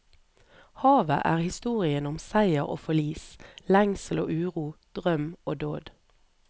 Havet er historien om seier og forlis, lengsel og uro, drøm og dåd.